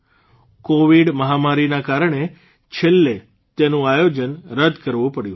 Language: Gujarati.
કોવિડ મહામારીના કારણે છેલ્લે તેનું આયોજન રદ કરવું પડ્યું હતું